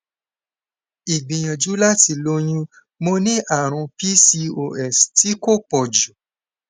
igbìyànjú láti lóyún mo ní àrùn pcos ti ko poju